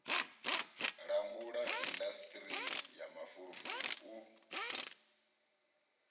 langula indasiṱiri ya mafulufulu u